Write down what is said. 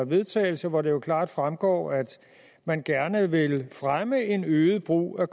vedtagelse hvoraf det jo klart fremgår at man gerne vil fremme en øget brug af